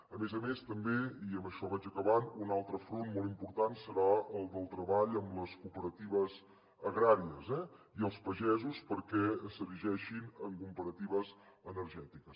a més a més també i amb això vaig acabant un altre front molt important serà el del treball amb les cooperatives agràries eh i els pagesos perquè s’erigeixen en cooperatives energètiques